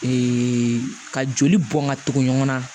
ka joli bɔn ka tugu ɲɔgɔn na